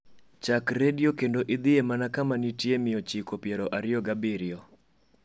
chak redio kendo idhie mana kama nitie mia ochiko piero ariyo gi abirio